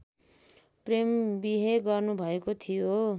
प्रेमविहे गर्नुभएको थियो